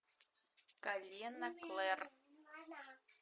колено клэр